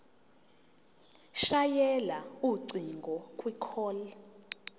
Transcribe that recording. shayela ucingo kwicall